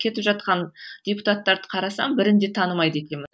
кетіп жатқан депутатарды қарасам бірін де танымайды екенмін